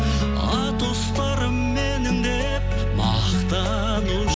атұстарым менің деп